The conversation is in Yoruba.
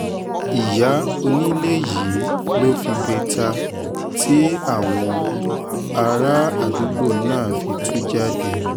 ìyá onílé yìí ló figbe ta tí àwọn bárààdúgbò náà fi tú jáde